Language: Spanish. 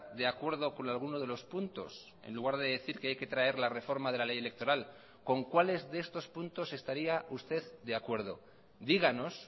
de acuerdo con alguno de los puntos en lugar de decir que hay que traer la reforma de la ley electoral con cuáles de estos puntos estaría usted de acuerdo díganos